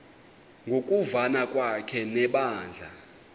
ngokuvana kwakhe nebandla